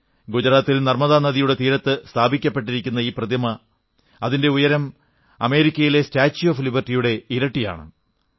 ഗുജറാത്തിൽ നർമ്മദാ നദിയുടെ തീരത്ത് സ്ഥാപിക്കപ്പെട്ടിരിക്കുന്ന ഈ പ്രതിമയുടെ ഉയരം അമേരിക്കയിലെ സ്റ്റാച്യൂ ഓഫ് ലിബർട്ടിയുടെ ഇരട്ടിയാണ്